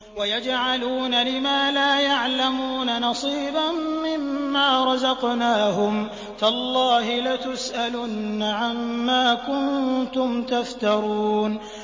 وَيَجْعَلُونَ لِمَا لَا يَعْلَمُونَ نَصِيبًا مِّمَّا رَزَقْنَاهُمْ ۗ تَاللَّهِ لَتُسْأَلُنَّ عَمَّا كُنتُمْ تَفْتَرُونَ